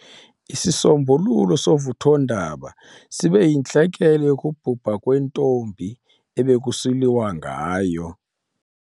Isisombululo sovuthondaba sibe yintlekele yokubhubha kwentombi ebekusiliwa ngayo.